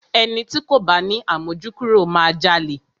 Ẹni ti kò bá ni àmójúkúrò máa jalè.